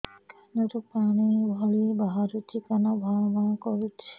କାନ ରୁ ପାଣି ଭଳି ବାହାରୁଛି କାନ ଭାଁ ଭାଁ କରୁଛି